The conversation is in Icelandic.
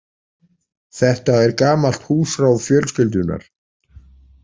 Þetta er gamalt húsráð fjölskyldunnar.